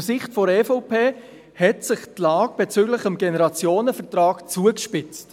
Aus Sicht der EVP hat sich die Lage bezüglich des Generationenvertrags jedoch zugespitzt.